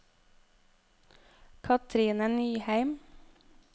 Cathrine Nyheim